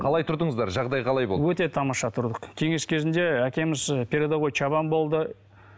қалай тұрдыңыздар жағдай қалай болды өте тамаша тұрдық кеңес кезінде әкеміз і передовой шабан болды